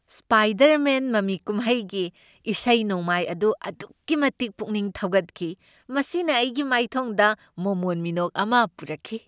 Spider-Man ꯃꯃꯤ ꯀꯨꯝꯍꯩꯒꯤ ꯏꯁꯩ ꯅꯣꯡꯃꯥꯏ ꯑꯗꯨ ꯑꯗꯨꯛꯀꯤ ꯃꯇꯤꯛ ꯄꯨꯛꯅꯤꯡ ꯊꯧꯒꯠꯈꯤ, ꯃꯁꯤꯅ ꯑꯩꯒꯤ ꯃꯥꯏꯊꯣꯡꯗ ꯃꯣꯃꯣꯟ ꯃꯤꯅꯣꯛ ꯑꯃ ꯄꯨꯔꯛꯈꯤ ꯫